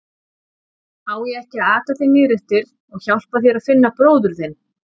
Á ég ekki að aka þér niðreftir og hjálpa þér að finna bróður þinn?